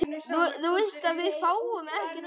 Ónefnd stúlka: Var þetta kalt?